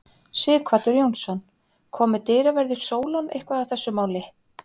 Sighvatur Jónsson: Komu dyraverðir Sólon eitthvað að þessu máli?